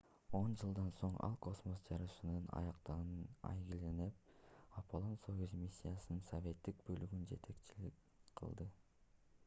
он жылдан соң ал космос жарышынын аяктагынын айгинелеп апполон-союз миссиясынын советтик бөлүгүнө жетекчилик кылды